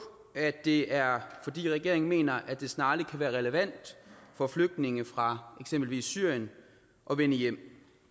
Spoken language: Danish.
at det er fordi regeringen mener at det snart kan være relevant for flygtninge fra eksempelvis syrien at vende hjem